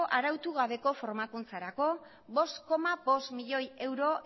arautu gabeko formakuntzarako bost koma bost milioi euro